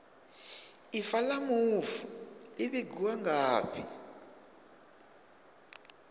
ifa la mufu li vhigwa ngafhi